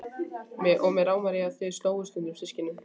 Og mig rámar í að þau slógust stundum systkinin.